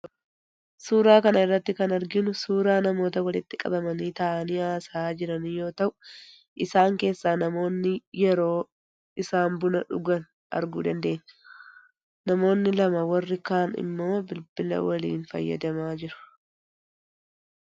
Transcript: Suuraa kana irratti kan arginu suuraa namoota walitti qabamanii taa'anii haasa'aa jiranii yoo ta'u, isaan keessaa namoonni yeroo isaan buna dhugan arguu dandeenya. Namoonni lama warri kaan immoo bilbila waliin fayyadamaa jiru.